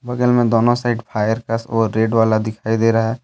बगल में दोनों साइड फायर का वो रेड वाला दिखाई दे रहा--